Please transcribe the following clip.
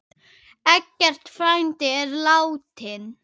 Eggert frændi er látinn.